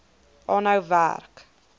aanhou werk